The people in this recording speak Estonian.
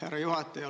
Härra juhataja!